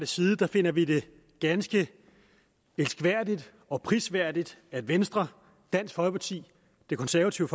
side finder vi det ganske elskværdigt og prisværdigt at venstre dansk folkeparti de konservative